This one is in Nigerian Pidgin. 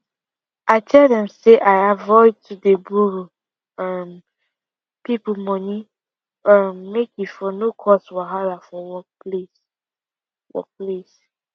i tell dem say i avoid to dey burrow um people money um make e for no cause wahala for workplace for place